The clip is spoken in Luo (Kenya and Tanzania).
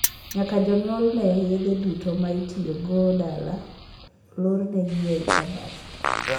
Nyaka jonyuol nee ni yedhe duto ma itiyo godo dala olornegi ei kabat.